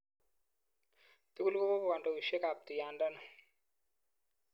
Tugul kokokandoishek ap tuyandano.